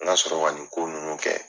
N ka sɔrɔ ka nin ko ninnu kɛ.